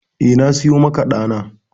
Eh, na siyo maka ɗa na.